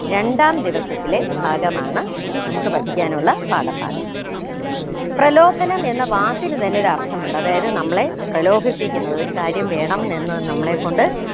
രണ്ടാം ദിവസത്തിലെ ഭാഗമാണ് നമുക്ക് പഠിക്കാനുള്ള പാഠഭാഗം പ്രലോഭനം എന്ന വാക്കിന് തന്നെ ഒരർത്ഥമുണ്ട് അതായത് നമ്മളെ പ്രലോഭിപ്പിക്കുന്ന ഒരു കാര്യം വേണം എന്ന് നമ്മളെ കൊണ്ട്